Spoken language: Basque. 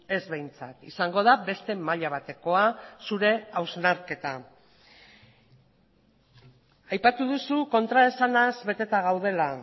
ez behintzat izango da beste maila batekoa zure hausnarketa aipatu duzu kontraesanaz beteta gaudela